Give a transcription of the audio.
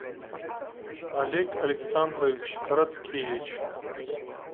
олег александрович короткевич